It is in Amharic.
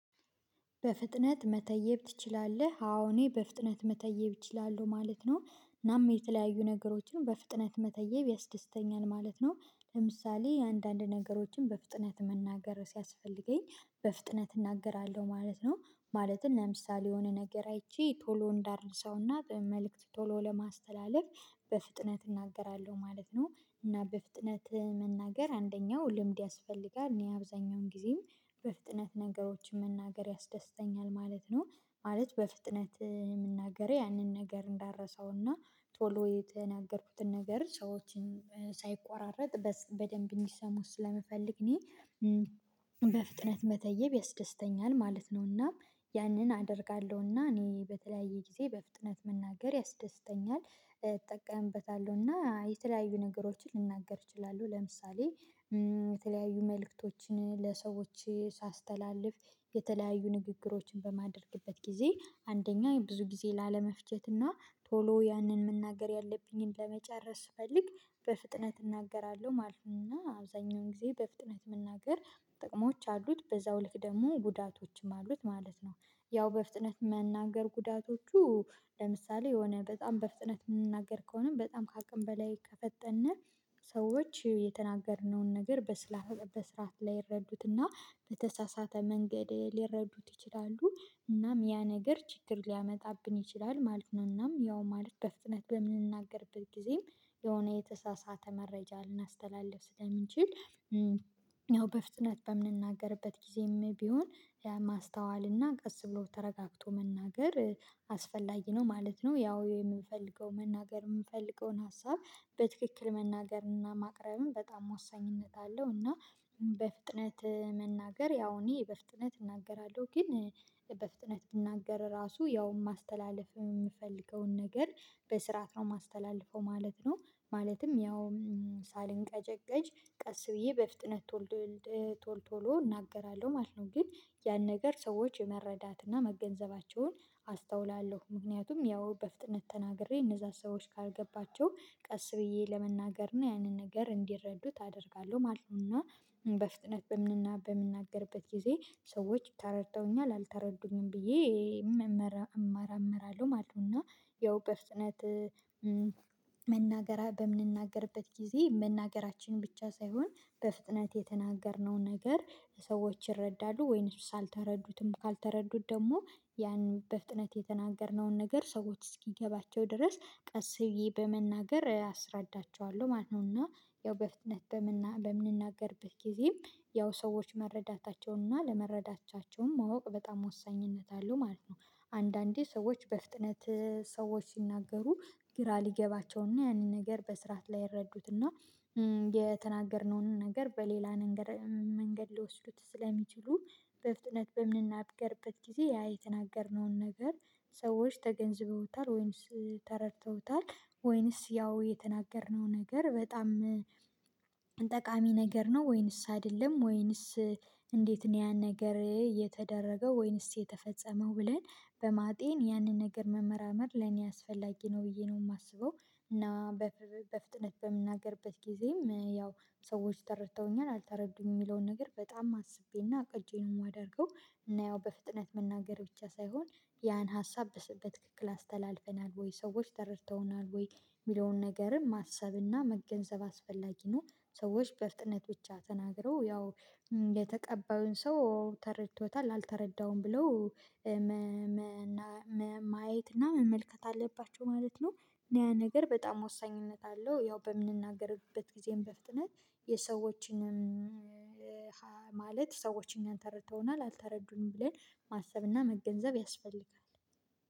በፍጥነት መተየብ ትችላለህ አዎ እኔ በፍጥነት መተየብ እችላለሁ ማለት ነው። እናም የተለያዩ ነገሮችን በፍጥነት መተየብ ያስደስተኛል ማለት ነው። ለምሳሌ አንዳንድ ነገሮችን በፍጥነት መናገር ሲያስፈልገኝ በፍጥነት እናገራለሁ ማለት ነው። ማለትም ለምሳሌ የሆነ ነገር አይቼ ቶሎ እንዳረሳውና መልእክት ቶሎ ለማስተላለፍ በፍጥነት እናገራለሁ ማለት ነው። እና በፍጥነት መናገር አንደኛው ልምድ ያስፈልጋል እኔ አብዛኛውን ጊዜም በፍጥነት ነገሮችን መናገር ያስደስተኛል ማለት ነው። ማለት በፍጥነት የምናገረው ያንን ነገር እንዳረሳውና ቶሎ የተናገርኩትን ነገር ሰዎችን ሳይቆራረጥ በደንብ እንዲሰሙት ስለምፈልግ እኔ በፍጥነት መተየብ ያስደስተኛል ማለት ነውና። ያንን አደርጋለሁና እኔ በተለያየ ጊዜ በፍጥነት መናገር ያስደስተኛል እጠቀምበታለሁ እና የተለያዩ ነገሮችን ልናገር እችላለሁ ለምሳሌ። የተለያዩ መልእክቶችን ለሰዎች ሳስተላልፍ የተለያዩ ንግግሮችን በማድረግበት ጊዜ አንደኛ ብዙ ጊዜ ላለመፍጀትና ቶሎ ያንን መናገር ያለብኝን ለመጨረስ ስፈልግ በፍጥነት እናገራለሁ ማለት ነው። እና አብዛኛውን ጊዜ በፍጥነት መናገር ጥቅሞች አሉት በዛው ልክ ደግሞ ጉዳቶችም አሉት ማለት ነው። ያው በፍጥነት መናገር ጉዳቶቹ ለምሳሌ የሆነ በጣም በፍጥነት የምንናገር ከሆነ በጣም ከአቅም በላይ ከፈጠነ ሰዎች የተናገርነውን ነገር በስራ በስራት ላይረዱትና በተሳሳተ መንገድ ሊረዱት ይችላሉ እናም ያ ነገር ችግር ሊያመጣብን ይችላል ማለት ነው። እናም ያው ማለት በፍጥነት በምንናገርበት ጊዜም የሆነ የተሳሳተ መረጃ ልናስተላልፍ ስለምንችል ያው በፍጥነት በምንናገርበት ጊዜም ቢሆን ማስተዋል እና ቀስ ብሎ ተረጋግቶ መናገር አስፈላጊ ነው ማለት ነው። ያው የምንፈልገው መናገር የምንፈልገውን ሀሳብ በትክክል መናገርና ማቅረብም በጣም ወሳኝነት አለው እና በፍጥነት መናገር ያው እኔ በፍጥነት እናገራለሁ ግን በፍጥነት ብናገር ራሱ ያውም ማስተላለፍ የምፈልገውን ነገር በስርዓት ነው የማስተላልፈው ማለት ነው። ማለትም ያውም ሳልንቀጨቀጭ ቀስ ብዬ በፍጥነት ቶል ቶሎ እናገራለሁ ማለት ነው። ግን ያን ነገር ሰዎች የመረዳትና መገንዘባቸውን አስተውላለሁ ምክንያቱም ያው በፍጥነት ተናግሬ እነዛን ሰዎች ካልገባቸው ቀስ ብዬ ለመናገር ነው ያንን ነገር እንዲረዱት አደርጋለሁ ማለት ነው። እና በፍጥነት በምንናገርበት ጊዜ ሰዎች ተረድተውኛል አልተረዱኝም ብዬ እመራመራለሁ ማለት ነውና ያው በፍጥነት መናገር በምንናገርበት ጊዜ መናገራችን ብቻ ሳይሆን በፍጥነት የተናገርነው ነገር ሰዎች ይረዳሉ ወይንሱ አልተረዱትም ካልተረዱት ደግሞ ያንን በፍጥነት የተናገርነውን ነገር ሰዎች እስኪገባቸው ድረስ ቀስ ብዬ በመናገር አስረዳቸዋለሁ ማለት ነው። እና ያው በፍጥነት በምንናገርበት ጊዜም ያው ሰዎች መረዳታቸውንና ለመረዳታቸውም ማወቅ በጣም ወሳኝነት አለው ማለት ነው። አንዳንዴ ሰዎች በፍጥነት ሰዎች ሲናገሩ ግራ ሊገባቸውና ያንን ነገር በስርዓት ላይረዱትና የተናገርነውን ነገር በሌላ ነገር መንገድ ሊወስዱት ስለሚችሉ በፍጥነት በምንናገርበት ጊዜ ያ የተናገርነውን ነገር ሰዎች ተገንዝበውታል ወይስ ተረድተውታል ወይስ ያው የተናገርነው ነገር በጣም ጠቃሚ ነገር ነው ወይንስ አይደለም ወይንስ እንዴት ነው ያን ነገር የተደረገው ወይንስ የተፈጸመው ብለን በማጤን ያንን ነገር መመራመር ለኔ አስፈላጊ ነው። ብዬ ነው የማስበው እና በፍጥነት በምናገርበት ጊዜም ያው ሰዎች ተረድተውኛል አልተረዱም የሚለውን ነገር በጣም አስቤና አቅጀ ነው የማደርገው እና ያው በፍጥነት መናገር ብቻ ሳይሆን ያን ሀሳብ በትክክል አስተላልፈናል ወይ ሰዎች ተረድተውናል ወይ የሚለውን ነገርም ማሰብና መገንዘብ አስፈላጊ ነው። ሰዎች በእፍጥነት ብቻ ተናግረው ያው የተቀባዩን ሰው ተረድቶታል አልተረዳውም ብለው ማየት እና መመልከት አለባቸው ማለት ነው። እኔ ያ ነገር በጣም ወሳኝነት አለው ያው በምንናገርበት ጊዜም በፍጥነት የሰዎችንም ማለት ሰዎች እኛን ተረድተውናል አልተረዱንም ብለን ማሰብና መገንዘብ ያስፈልጋል